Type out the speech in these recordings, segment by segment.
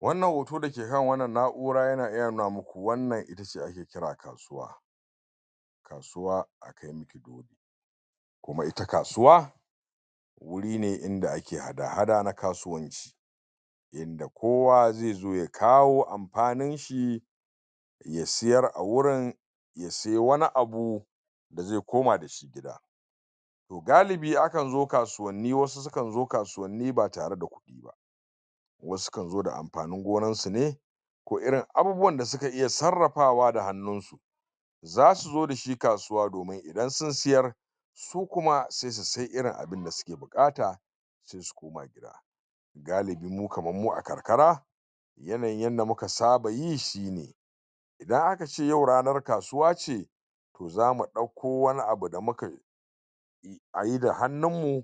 wannan hoto da yake kan wannan na'ura ya iya nuna muku wannan itace ake kira kasuwa kasuwa kuma ita kasuwa wurin ne inda ake hada hada na kasuwanci da kowa zai zo ya kawo amfanin shi ya siyar a wurin ya saye wani abu ya zo ya koma da da ita gida toh galibi akan zo kasuwanni wasu su kan zo kasuwanni ba tare da kudi ba wasu su kan zo da amfanin gonan su ne ko irin abubuwan da suka iya sarrafa da hannun su zasu zo dashi kasuwa domin idan sun siyar su kuma sai su siye irin abun da suke bukata galibi kaman mu a karkara yanayin yanda muka saba yi shine idan akace yau ranar kasuwa ce zamu dauko wani abu da muka ayi da hannun mu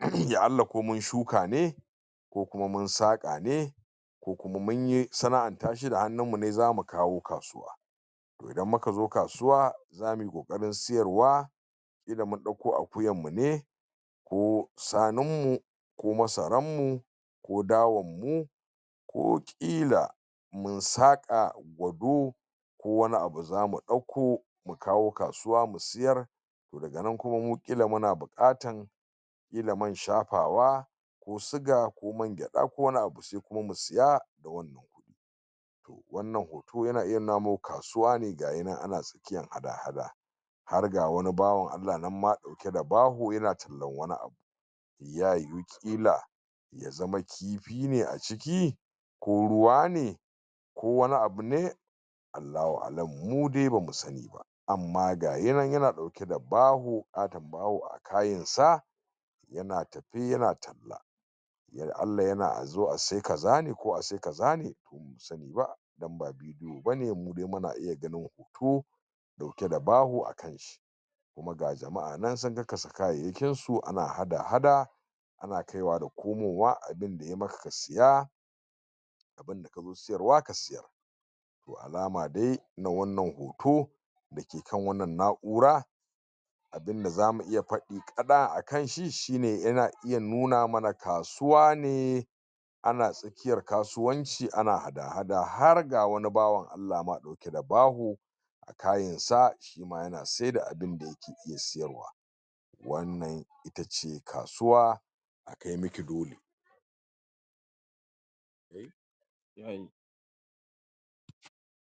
um komin shuka ne ko kuma mun saka ne ko kuma munyi sana'an tashe da hannun mu ne zamu kawo kasuwa idan muka zo kasuwa zamuyi kokarin siyarwa kila mun dauko akuyan mu ne ko shanun mu ko masaran mu ko dawan mu ko ƙila mun saka wando ko wani abu zamu dauko mu kawo kasuwa mu siyar daga nan kuma kilan muna bukatar kila man shafawa ko sigar ko man geda ko wani abu sai kuma mu siya da kuɗin wannan hoto yan iya nuna muku kasuwa ne gayinan ana taskiyan hada hada har ga wani bawan Allah nan ma rike da baho yana tallan wani abu ya yu ƙila ya zama kifi ne a ciki ko ruwa ne ko wani abu ne Allahu a'alam mu dai bamu sani ba amma gayinan yana dauke da babu hayin sa yana tafi yana yana a zo a siya kaza ne ko a siya kaza ne dan ba vidiyo bane mu dai muna iya ganin hoto dauke da baho a kai ga jama'a nan sun kakkasa kayayyakin su su ana hada hada ana kai wa da komo wa abun da ya maka ka siya wanda kazo siyar wa ka siyar alama dai na wannan hoto da ke kan wannan na'ura abunda zamu iya fadi ] a kanshi shine yana nuna mana kasuwa ne ana tsakiyar kasuwanci ana hada hada har ga wani bawan dauke da bawo kayan sa shima ya saida abu ne ke iya siyarwa wannan shi kasuwa kai miki dole